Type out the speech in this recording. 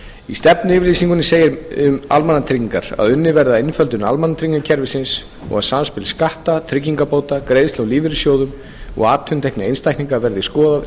í stefnuyfirlýsingunni segir um almannatryggingar að unnið verði að einföldun almannatryggingakerfisins og að samspil skatta tryggingabóta greiðslna úr lífeyrissjóðum og atvinnutekna einstaklinga verði skoðað